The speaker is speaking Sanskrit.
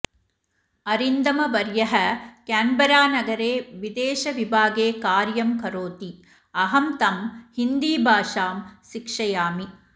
अरिन्दमवर्यः केन्बरानगरे विदेशविभागे कार्यं करोति अहं तम् हिन्दीभाषा शिक्षयामि